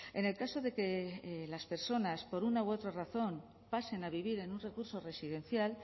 en el caso de que las personas por una u otra razón pasen a vivir en un recurso residencial